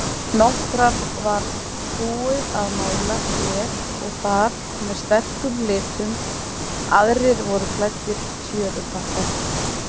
Nokkra var búið að mála hér og þar með sterkum litum, aðrir voru klæddir tjörupappa.